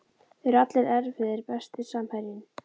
Þeir eru allir erfiðir Besti samherjinn?